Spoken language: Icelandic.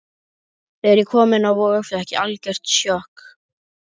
Þegar ég kom inn á Vog fékk ég algjört sjokk.